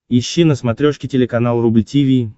ищи на смотрешке телеканал рубль ти ви